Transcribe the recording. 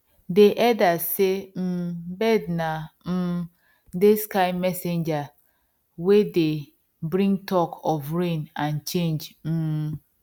dey elders sey um birds na um dey sky messengers wey dey bring talk of rain and change um